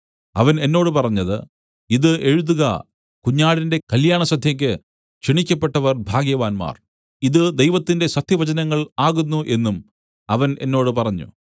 അവൻ എന്നോട് പറഞ്ഞത് ഇതു എഴുതുക കുഞ്ഞാടിന്റെ കല്യാണസദ്യയ്ക്ക് ക്ഷണിക്കപ്പെട്ടവർ ഭാഗ്യവാന്മാർ ഇതു ദൈവത്തിന്റെ സത്യവചനങ്ങൾ ആകുന്നു എന്നും അവൻ എന്നോട് പറഞ്ഞു